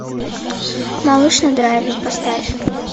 малыш на драйве поставь